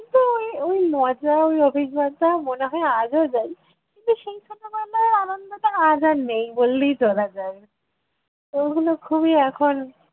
ওই ওই মজা ওই অভিজ্ঞতা মনে হয় আজও যাই, কিন্তু সেই ছোটবেলার আনন্দটা আজ আর নেই বললেই চলা যায়। ওগুলো খুবই এখন